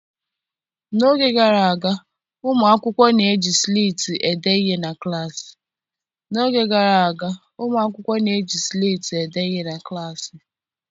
N'oge gara aga, ụmụ akwụkwọ na-eji sleeti ede ihe na klaasị.